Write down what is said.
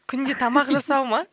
күнде тамақ жасау ма